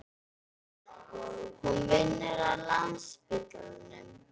Hún vinnur á Landspítalanum.